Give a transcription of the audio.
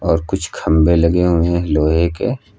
और कुछ खंभे लगे हुए हैं लोहे के--